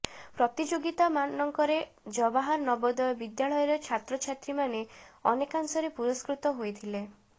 ପ୍ରତିଯୋଗିତା ମାନଙ୍କରେ ଜବାହାର ନବୋଦୟ ବିଦ୍ୟାଳୟର ଛାତ୍ରଛାତ୍ରୀମାନେ ଅନେକାଂଶରେ ପୁରସ୍କୃତ ହୋଇଥିଲେ